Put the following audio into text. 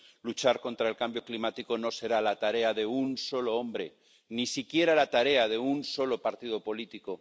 Luchar contra el cambio climático no será la tarea de un solo hombre, ni siquiera la tarea de un solo partido político